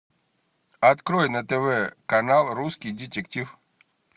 открой на тв канал русский детектив